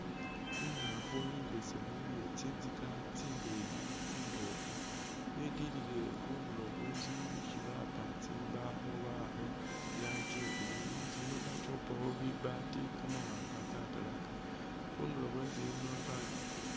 I'ngaafu imbesemu iye tsinzika tsindeeyi tsimboofu, yetilile khundulo khwe inzu isi bapa tsimbawo baakha i'rangi ya blue. Inzu yino balikhupakhi bibaati kamawaanga katalaka, khundulo khwenzu bayombekha.